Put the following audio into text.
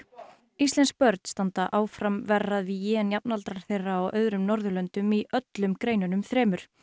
íslensk börn standa áfram verr að vígi en jafnaldrar þeirra á öðrum Norðurlöndum í öllum greinunum þremur